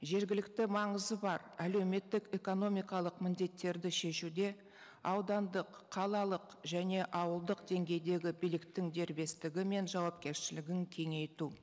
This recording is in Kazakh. жергілікті маңызы бар әлеуметтік экономикалық міндеттерді шешуде аудандық қалалық және ауылдық деңгейдегі биліктің дербестігі мен жауапкершілігін кеңейту